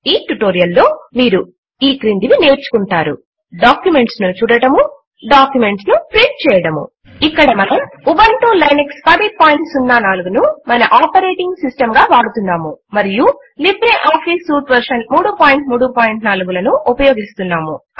ఈ ట్యుటోరియల్ లో మీరు ఈ క్రిందివి నేర్చుకుంటారూ డాక్యుమెంట్స్ ను చూడడము డాక్యుమెంట్స్ ను ప్రింట్ చేయడము ఇక్కడ మనము ఉబంటు లైనక్స్ 1004 ను మన ఆపరేటింగ్ సిస్టమ్ గా వాడుతున్నాము మరియు లిబ్రే ఆఫీస్ స్యూట్ వర్షన్ 334 లను ఉపయోగిస్తున్నాము